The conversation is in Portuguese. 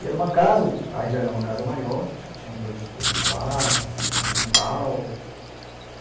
E era uma casa, já era uma casa maior, acho que tinha dois quartos, tinha um quintal.